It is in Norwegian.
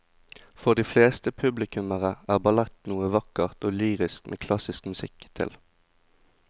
For de fleste publikummere er ballett noe vakkert og lyrisk med klassisk musikk til.